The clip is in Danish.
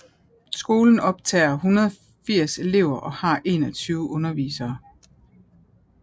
Skolen optager 180 elever og har 21 undervisere